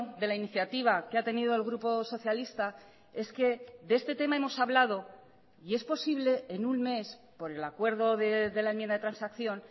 de la iniciativa que ha tenido el grupo socialista es que de este tema hemos hablado y es posible en un mes por el acuerdo de la enmienda de transacción